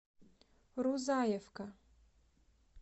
рузаевка